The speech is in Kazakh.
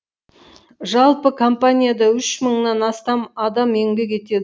жалпы компанияда үш мыңнан астам адам еңбек етеді